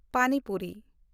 ᱯᱟᱱᱤ ᱯᱩᱨᱤ